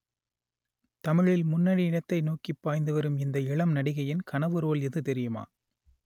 தமிழில் முன்னணி இடத்தை நோக்கி பாய்ந்து வரும் இந்த இளம் நடிகையின் கனவு ரோல் எது தெரியுமா